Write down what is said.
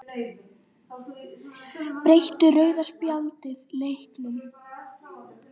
Breytti rauða spjaldið leiknum?